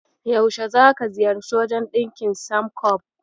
Yaushe zaka ziyarci wajen ɗinkin Samcob?